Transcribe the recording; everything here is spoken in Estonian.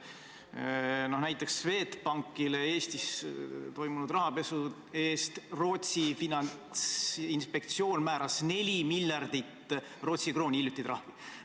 Näiteks Rootsi finantsinspektsioon määras Swedbankile Eestis toimunud rahapesu eest 4 miljardit Rootsi krooni trahvi.